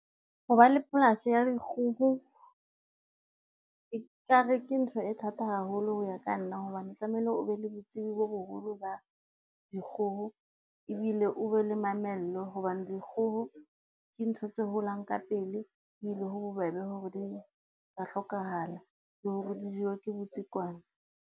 Ho ba le polasi ya dikgoho, e ka re ke ntho e thata haholo ho ya ka nna hobane tlamehile o be le botsebi bo boholo ba dikgoho, ebile o be le mamello. Hobane dikgoho ke ntho tse holang ka pele ebile ho bobebe hore di ka hlokahala, le hore di jewe ke botsikwane.